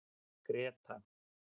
Greta